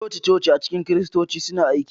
Coci-coci a cikin Kiristanci suna aiki.